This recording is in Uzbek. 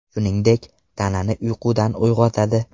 Shuningdek, tanani uyqudan uyg‘otadi.